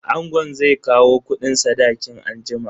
Angon zai kawo kudin sadakin anjima.